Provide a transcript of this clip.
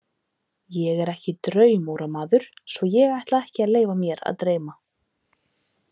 Ég er ekki draumóramaður, svo ég ætla ekki að leyfa mér að dreyma.